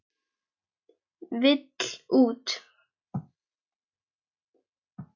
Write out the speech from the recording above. Vill út.